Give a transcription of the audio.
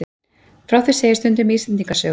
Frá því segir stundum í Íslendingasögum.